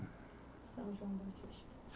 São João Batista.